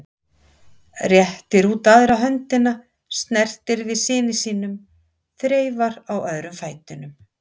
Réttir út aðra höndina, snertir við syni sínum, þreifar á öðrum fætinum.